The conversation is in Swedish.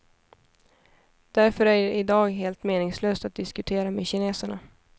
Därför är det i dag helt meningslöst att diskutera med kineserna.